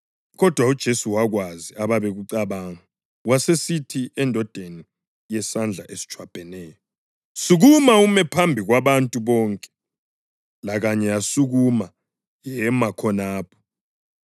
Kodwa uJesu wakwazi ababekucabanga, wasesithi endodeni yesandla esitshwabheneyo, “Sukuma ume phambi kwabantu bonke.” Lakanye yasukuma yema khonapho.